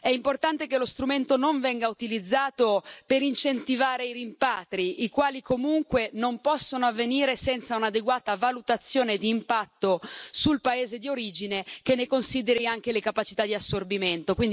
È importante che lo strumento non venga utilizzato per incentivare i rimpatri, i quali comunque non possono avvenire senza un'adeguata valutazione di impatto sul paese di origine che ne consideri anche le capacità di assorbimento.